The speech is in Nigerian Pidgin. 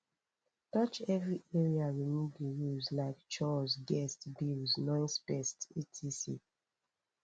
touch every area we need di rules like chores guests bills noisepets etc